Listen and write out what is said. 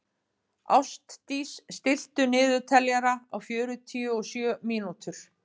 Ástdís, stilltu niðurteljara á fjörutíu og sjö mínútur.